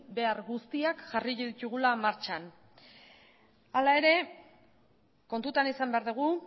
behar guztiak jarriko ditugula martxan hala ere kontutan izan behar dugu